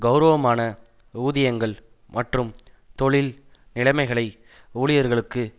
கெளரவமான ஊதியங்கள் மற்றும் தொழில் நிலைமைகளை ஊழியர்களுக்கு